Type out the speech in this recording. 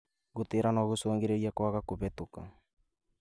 Gũtĩra no gũcũngĩrĩrie kwaga kũhetũka